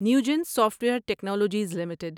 Newgen Software Technologies limited